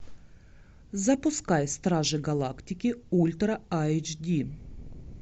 запускай стражи галактики ультра айч ди